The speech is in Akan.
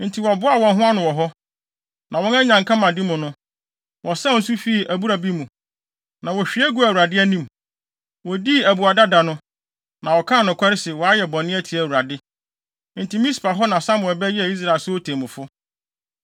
Enti wɔboaa wɔn ho ano wɔ hɔ. Na wɔn anyankamade mu no, wɔsaw nsu fi abura bi mu, na wohwie guu Awurade anim. Wodii abuada da no, na wɔkaa nokware sɛ wɔayɛ bɔne atia Awurade. Enti Mispa hɔ na Samuel bɛyɛɛ Israel so temmufo.